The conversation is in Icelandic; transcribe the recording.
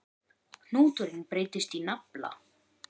Hnúturinn breytist í nafla.